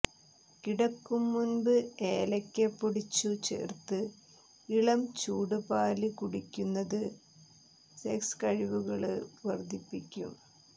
കിടക്കുംമുന്പ് ഏലയ്ക്ക പൊടിച്ചു ചേര്ത്ത ഇളംചൂടുപാല് കുടിയ്ക്കുന്നത് സെക്സ കഴിവുകള് വര്ദ്ധിപ്പിയ്ക്കും